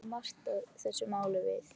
Hvað kom Marta þessu máli við?